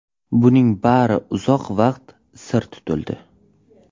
Buning bari uzoq vaqt sir tutildi.